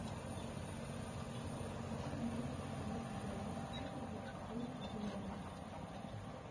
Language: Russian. хочу продать австралийский доллар сколько будет стоить в боливарах